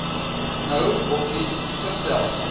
nou opnuut vertel